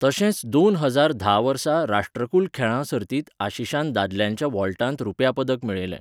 तशेंच दोन हजार धा वर्सा राष्ट्रकुल खेळां सर्तींत आशीशान दादल्यांच्या वॉल्टांत रुप्या पदक मेळयलें.